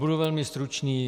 Budu velmi stručný.